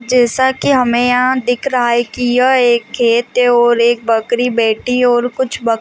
जैसा कि हमें यहाँ दिख रहा है कि यह एक खेत है और एक बकरी बैठी है और कुछ बक --